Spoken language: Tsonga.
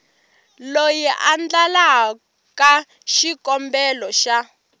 loyi a endlaka xikombelo xa